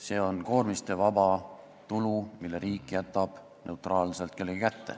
See on koormistevaba tulu, mille riik jätab neutraalselt kellegi kätte.